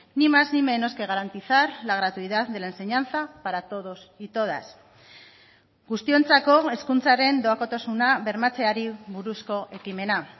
ni más ni menos que garantizar la gratuidad de la enseñanza para todos y todas guztiontzako hezkuntzaren doakotasuna bermatzeari buruzko ekimena